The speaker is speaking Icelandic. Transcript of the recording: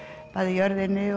jörðinni